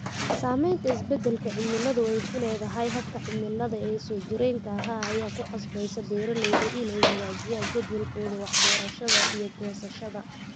Saamaynta isbeddelka cimiladu ku leedahay hababka cimilada ee soo jireenka ah ayaa ku qasbaysa beeralayda inay hagaajiyaan jadwalkooda wax-beerashadda iyo goosashada.